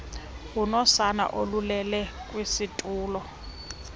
unosana olulele kwisitulo